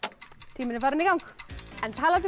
tíminn er farinn í gang en talandi um